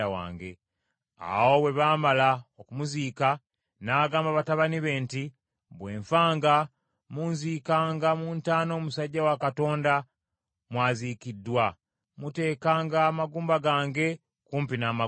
Awo bwe baamala okumuziika, n’agamba batabani be nti, “Bwe nfanga, munziikanga mu ntaana omusajja wa Katonda mw’aziikiddwa; muteekanga amagumba gange kumpi n’amagumba ge.